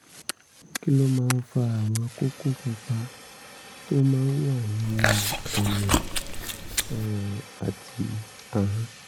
kí ló máa ń fa àwọn kókó pupa tó máa ń wà nínú ẹnu um àti ahọ́n?